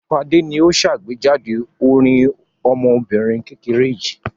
Fadé ni ó ṣàgbéjáde orin ọmọbìnrin kékeré yìí.